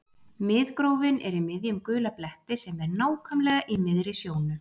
Miðgrófin er í miðjum gula bletti sem er nákvæmlega í miðri sjónu.